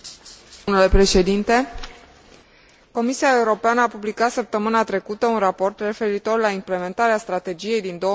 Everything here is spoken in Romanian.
Comisia Europeană a publicat săptămâna trecută un raport referitor la implementarea strategiei din 2007 privind nutriția și obezitatea.